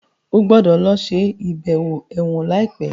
o gbódò ló ṣe ibẹwo èwòn laipe!